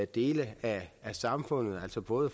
dele af samfundet altså både